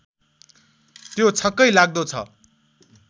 त्यो छक्कै लाग्दो छ